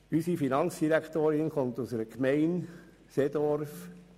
Unsere Finanzdirektorin kommt aus der Gemeinde Seedorf.